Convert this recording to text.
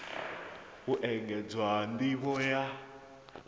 u engedzwa nd ivho ya